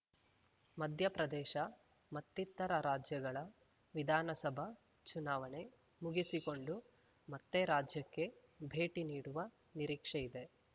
ಮಧ್ಯಪ್ರದೇಶ ಮತ್ತಿತರ ರಾಜ್ಯಗಳ ವಿಧಾನಸಭಾ ಚುನಾವಣೆ ಮುಗಿಸಿಕೊಂಡು ಮತ್ತೆ ರಾಜ್ಯಕ್ಕೆ ಭೇಟಿ ನೀಡುವ ನಿರೀಕ್ಷೆಯಿದೆ